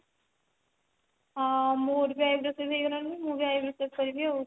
ହଁ ମୋର ବି eyebrow ସବୁ ବଢି ଗଲାଣି ମୁଁ ବି eyebrow save କରିବି ଆଉ